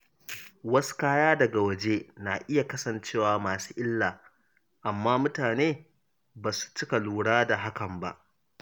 Wasu kaya daga waje na iya kasancewa masu illa, amma mutane ba su cika lura da hakan ba.